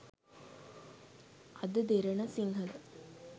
ada derana sinhala